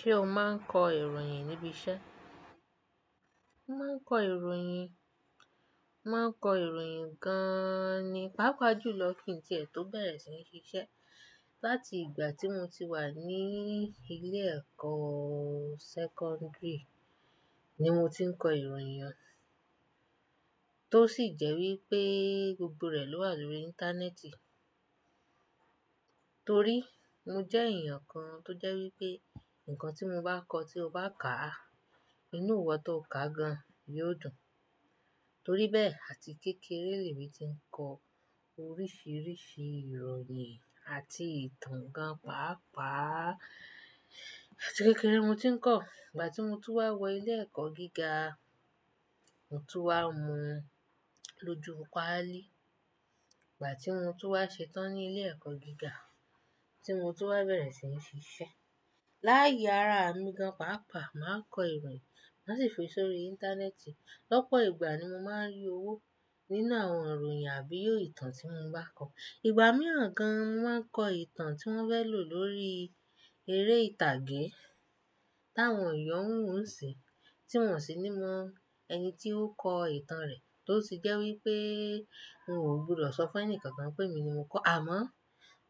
Ṣé o máa ń kọ ìròyìn níbi iṣẹ́? Máa ń kọ ìròyìn, máa ń kọ ìròyìn gan-an ni. Páápàá jù lọ kí n tí è tó bẹ̀rẹ̀ sí ní ṣiṣẹ́. Láti ìgbà tí mo ti wà ní ilé ẹ̀kọ́ secondary ni mo ti ń kọ ìròyìn, tó sì jẹ́ wí pé gbogbo rẹ̀ ló wà lórí Íńtánẹ́ẹ̀tì. Torí mo jẹ́ èèyàn kan tó jẹ́ wí pé nǹkan tí mo bá kọ tí o bá ká, inú ìwọ tó kà gan yóò dùn. Torí bẹ́ẹ̀, àti kékeré lèmí ti ń kọ oríṣiríṣi ìròyìn àti ìtàn gan pàápàá. Àti kékeré mo ti ń kọ̀, ìgbà tí mo tú wá wọ ilé ẹ̀kọ́ gíga mo tún wá mu lójoò pàálí. Ìgbà tí mo tú wá ṣetán ní ilé ẹ̀kọ́ gíga tí mo tú wá bẹ̀rẹ̀ sí ní ṣiṣẹ́. Láàyè ara mi gan pàápàá máa ń kọ ìròyìn, má sì fi sórí Íńtánẹ́ẹ̀tì. Lọ́pọ̀ ìgbà ni mo máa ń rí owó nínú àwọn ìròyìn àbí ìtàn tí mo bá kọ. Ìgbà mìíràn gan, mo ma n kọ ìtàn tí wọ́n fẹ́ lò lórí eré ìtàgé táwọn èèyàn ń wo niṣinyii tí wọn sì ní mọ ẹni tí ó kọ ìtàn rẹ̀. Tó sì jẹ́ wí pé n ò gbúdọ̀ sọ fún ẹni kankan pé mi ni mo kọ. Àmọ́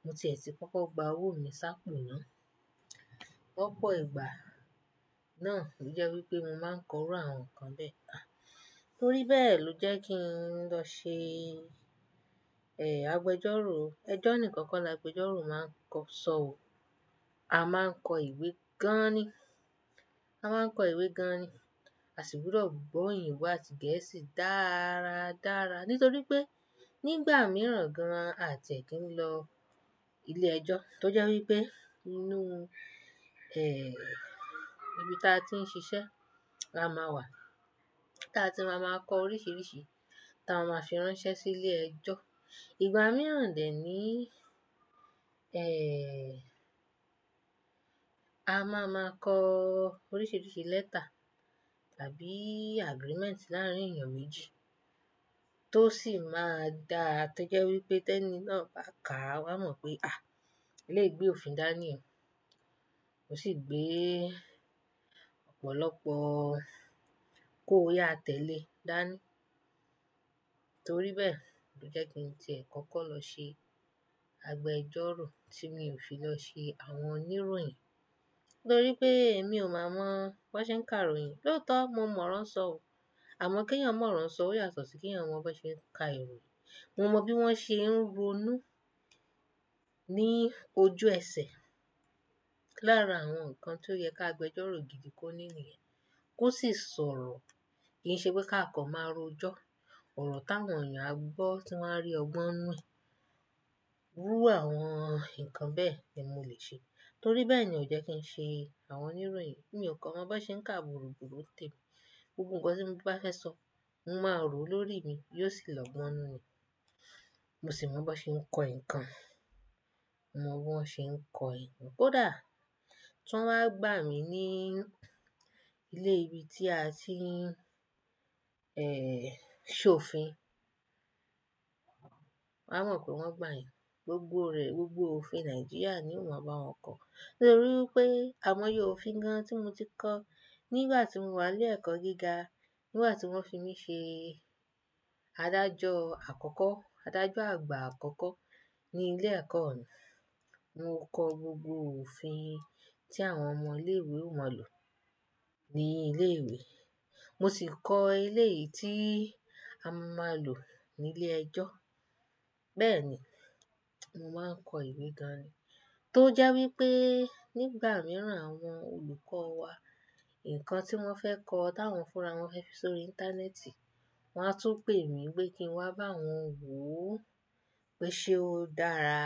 mo tiẹ̀ sí kọ́kọ́ gba owó mi sápo náà. Lọ́pọ̀ ìgbà náà ò jẹ́ wí pé mo máa ń kọ irú àwọn nǹkan bẹ́ẹ̀. Torí bẹ́ẹ̀ ló jẹ́ kí n lọ ṣe, ẹ́, agbẹjọ́rò. Ẹjọ́ nìkan kọ́ la agbẹjọ́rò máa ń kọ sọ ò. A máa ń kọ ìwé gan-an ni. A máa ń kọ ìwé gan-an ni, àṣìgbúdọ̀ gbọ́ èdè ìwé àti Gẹ̀ẹ́sì dáradára. Nítorí pé nígbà mìíràn gan àti è kí ń lọ ilé ẹjọ́ tó jẹ́ wí pé inú, ẹ́, ibi tí a ti ń ṣiṣẹ́ la máa wà. Táa ti máa máa kọ oríṣiríṣi ta máa fi ránṣẹ́ sí ilé ẹjọ́. Ìgbà mìíràn dẹ́ ní, ẹ́, a máa máa kọ oríṣiríṣi lẹ́tà tàbí agreement láàárín èèyàn méjì tó sì máa dáa tó jẹ́ wí pé tẹ́ní náà bá ká a máa mọ̀ pé, "àh! Eléyii gbe òfin dání o." Mo sì gbé ọ̀pọ̀lọpọ̀ "kòóyà tẹ́lẹ̀" dání. Torí bẹ́ẹ̀ ló jẹ́ kí n tí è kọ́kọ́ lọ ṣe agbẹjọ́rò tí mi ò fi lọ ṣe àwọn oníròyìn. Nítorí pé èmi ò mọ àwọn bá ṣe ń ka ìròyìn. Lóòótọ́ mo mọ̀ rán sọ ò, àmọ́ kí ẹ̀yàn mọ̀ rán sọ ò yàtọ̀ sí kí àwọn bá ṣe ń ka ìròyìn. Mo mọ bí wọ́n ṣe ń ronú ní ojú ẹsẹ̀. Láàárín àwọn nǹkan tí ó yẹ ká agbẹjọ́rò gidi kó ní nìyẹn, kó sì sọ̀rọ̀ kí í ṣe pé ká kọ̀ máa ró jọ́. Òrò táwọn èèyàn á gbọ́ tí wọ́n á rí ọgbọ́n nù e irú àwọn nǹkan bẹ́ẹ̀ ni mo lè ṣe. Torí bẹ́ẹ̀ ni ò jẹ́ kí n ṣe àwọn oníròyìn. Èmi ò kọ̀ mọ̀ bá ṣe ń ka wurúwurú ni tèmi. Gbogbo nǹkan tí mo bá fẹ́ sọ, mo máa rò ó lórí mi, yóò sì lọ gbọ́n nù ni. Mo sì mọ̀ bá ṣe ń kọ ìkan. Mo mọ̀ bí wọ́n ṣe ń kọ ìwé. Kódà tí wọ́n bá gbà mí ní ilé ibi tí a ti ń, ẹ́ẹ́, ṣe òfin, wáa mọ̀ pé wọ́n gbà eyan Gbogbo rẹ̀, gbogbo òfin Nàìjíríà ni mo máa bá wọn kọ̀. Nítorí pé àmọ́yẹ òfin gan tí mo ti kọ́ nígbà tí mo wà ní ilé ẹ̀kọ́ gíga, nígbà tí wọ́n fi mí ṣe adájọ́ àkọ́kọ́, adájọ́ àgbà àkọ́kọ́ ní ilé ẹ̀kọ́ mi, mo kọ gbogbo òfin tí àwọn ọmọ ilé ìwé ó máa lò ní ilé ìwé. Mo sì kọ elé yìí tí a máa lò ní ilé ẹjọ́. Bẹ́ẹ̀ ni, mo máa ń kọ ìwé gan-an ni. Tó jẹ́ wí pé nígbà mìíràn àwọn olùkọ́ wa, nǹkan tí wọ́n fẹ́ kọ táwọn fúnra wọn fẹ́ fi sórí Íńtánẹ́ẹ̀tì, wọ́n á tún pè mí pé kí n wá bá wọn wo ó pé ṣe ó dára,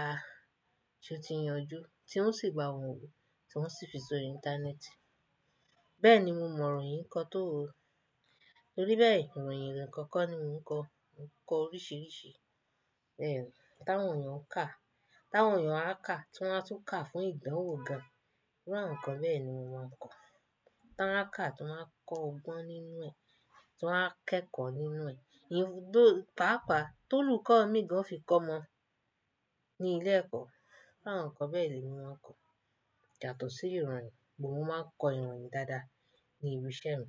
tí ó ti ń yanjú, tí ó sì bà wọ́n wò, tí wọ́n sì fi sórí Íńtánẹ́ẹ̀tì. Bẹ́ẹ̀ ni mo mọ ìròyìn kọ tó. Torí bẹ́ẹ̀ ìròyìn nìkan kọ́ ni mo ń kọ. Mo kọ oríṣiríṣi, ẹ́, táwọn èèyàn ń kà, táwọn èèyàn á kà tí wá tún kà fún ìdanwọ́ gan. Irú àwọn nǹkan bẹ́ẹ̀ ni mo máa ń kọ. Ti won a kà tí wa kọ́ ọgbọ́n nínú ẹ̀, tí wọ́n á kẹ́kọ̀ọ́ nínú ẹ̀. Ìyẹn, though, pàápàá tó'lùkọ́ mi gan o fi kọ́ ọmo ní ilé ẹ̀kọ́. Rú àwọn nǹkan bẹ́ẹ̀ ni mo máa ń kọ. Yàtọ̀ sí ìròyìn, mo máa ń kọ ìròyìn dáadáa ní ibi iṣẹ́ mi.